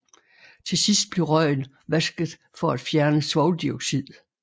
Til sidst bliver røgen vasket for at fjerne svovldioxid